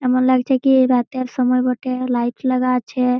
এমন লাগছে কি রাতের সময় বটে লাইট লাগা আছে।